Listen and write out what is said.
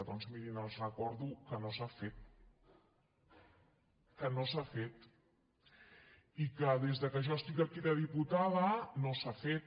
doncs mirin els recordo que no s’ha fet que no s’ha fet i que des que jo estic aquí de diputada no s’ha fet